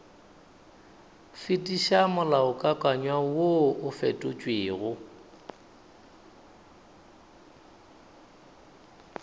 fetiša molaokakanywa woo o fetotšwego